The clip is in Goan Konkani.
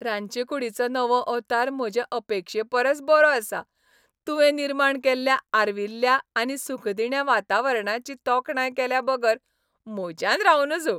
रांदचीकूडीचो नवो अवतार म्हजे अपेक्षे परस बरोआसा, तुवें निर्माण केल्ल्या आर्विल्ल्या आनी सुखदिण्या वातावरणाची तोखणाय केल्याबगर म्हज्यान रावं नज.